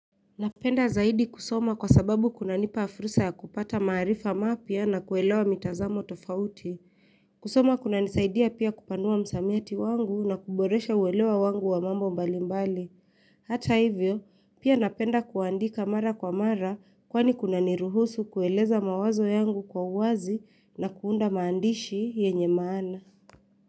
Napenda zaidi kusoma kwa sababu kuna nipafursa ya kupata maarifa mapya na kuelewa mitazamo tofauti. Kusoma kuna nisaidia pia kupanua msamiati wangu na kuboresha uelewa wangu wa mambo mbalimbali. Hata hivyo, pia napenda kuandika mara kwa mara kwani kuna niruhusu kueleza mawazo yangu kwa uwazi na kuunda maandishi yenye maana.